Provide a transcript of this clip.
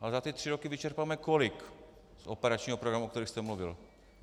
Ale za ty tři roky vyčerpáme kolik z operačních programů, o kterých jste mluvil?